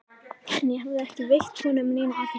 En ég hafði ekki veitt honum neina athygli.